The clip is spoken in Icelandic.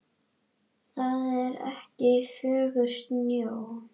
Það er ekki fögur sjón.